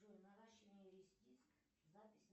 джой наращивание ресниц запись